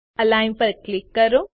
align પર click કરો